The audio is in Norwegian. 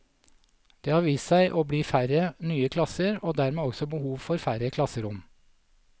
Det har vist seg å bli færre nye klasser, og dermed også behov for færre klasserom.